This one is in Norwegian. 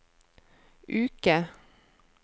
uke